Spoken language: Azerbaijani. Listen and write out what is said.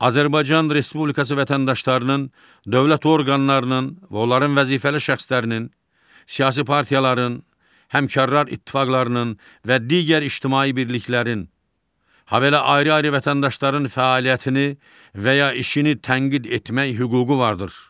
Azərbaycan Respublikası vətəndaşlarının, dövlət orqanlarının və onların vəzifəli şəxslərinin, siyasi partiyaların, həmkarlar ittifaqlarının və digər ictimai birliklərin, habelə ayrı-ayrı vətəndaşların fəaliyyətini və ya işini tənqid etmək hüququ vardır.